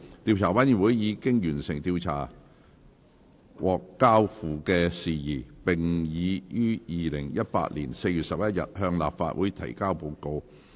調查委員會已完成調查獲交付的事宜，並已於2018年4月11日向立法會提交報告。